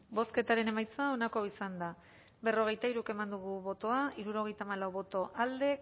bozketaren emaitza onako izan da berrogeita hiru eman dugu bozka hirurogeita hamalau boto alde